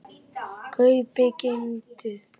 kaupið- keyptuð